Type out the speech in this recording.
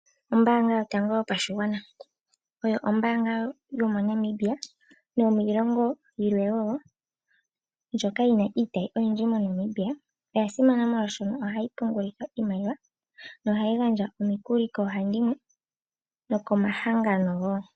Ombaanga yotango yopashigwana oyo ombaanga yomoNamibia, nomiilongo yimwe wo, ndjoka yina iitayi oyindji moNamibia. Oya simana molwaashoka ohayi pungulithwa iimaliwa, nohayi gandja omikuli koohandimwe, nokomahangano wo.